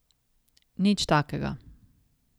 Nič takega.